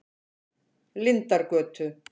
Lindargötu